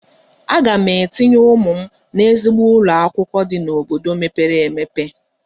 Aga m etinye ụmụ m n'ezigbo ụlọ akwụkwọ dị n'obodo mepere emepe.